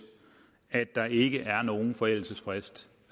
at der ikke er nogen forældelsesfrist